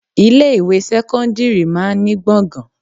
Ilé ìwé sẹ́kọ́ńdírì máa ń ní gbọ̀ngàn.